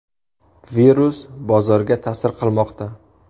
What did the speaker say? Virus bozorga ta’sir qilmoqda.